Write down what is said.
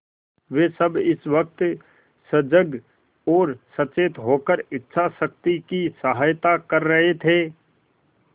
वे सब इस वक्त सजग और सचेत होकर इच्छाशक्ति की सहायता कर रहे थे